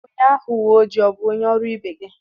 Onye agha uwe ojii a bụ onye ọrụ ibe gị..